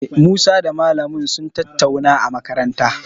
Musa da malamin mu sun tattauna a makaranta.